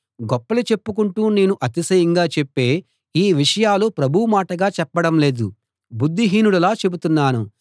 గొప్పలు చెప్పుకుంటూ నేను అతిశయంగా చెప్పే ఈ విషయాలు ప్రభువు మాటగా చెప్పడం లేదు బుద్ధిహీనుడిలా చెబుతున్నాను